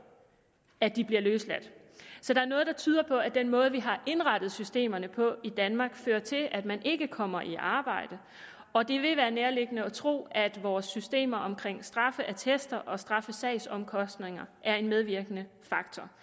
at de bliver løsladt så der er noget der tyder på at den måde vi har indrettet systemerne på i danmark fører til at man ikke kommer i arbejde og det vil være nærliggende at tro at vores systemer omkring straffeattester og straffesagsomkostninger er en medvirkende faktor